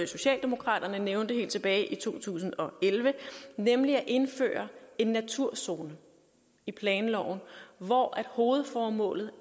socialdemokraterne nævnte helt tilbage i to tusind og elleve nemlig at indføre en naturzone i planloven hvor hovedformålet